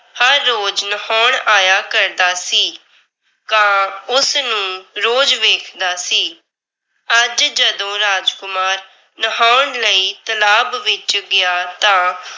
ਹਰ ਰੋਜ ਨਹਾਉਣ ਆਇਆ ਕਰਦਾ ਸੀ। ਕਾਂ ਉਸ ਨੂੰ ਰੋਜ਼ ਵੇਖਦਾ ਸੀ। ਅੱਜ ਜਦੋਂ ਰਾਜਕੁਮਾਰ ਨਹਾਉਣ ਲਈ ਤਲਾਬ ਵਿੱਚ ਗਿਆ ਤਾਂ